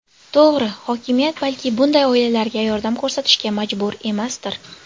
To‘g‘ri, hokimiyat balki bunday oilalarga yordam ko‘rsatishga majbur emasdir.